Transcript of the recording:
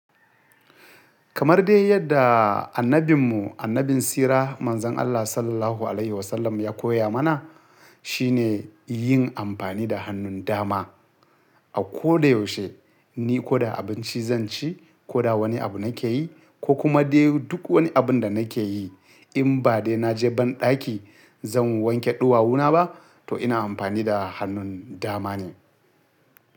Kamar dai yadda annabin mu, annabin sira, manzon Allah Sallallahu Alaihi Wasallam ya koya mana, shine yin amfani da hannun dama. A koda yaushe, ni koda abinci zan ci, koda wani abu nake yi, ko kuma dai duk wani abun da nake yi, in ba dai na je banɗaki zan wanke ɗuwawuna ba, to ina amfani da hannun dama ne.